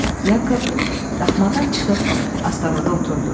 Yakov daxmadan çıxıb astanada oturdu.